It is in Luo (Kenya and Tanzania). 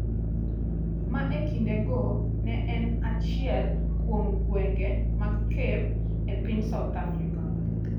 ma e kindego ne en achiel kuom gwenge mag Cape e piny South Africa.